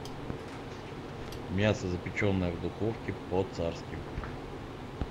мясо запеченное в духовке по царски